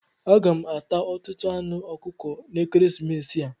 Aga m ata ọtụtụ anụ ọkụkọ n'ekeresimesi a.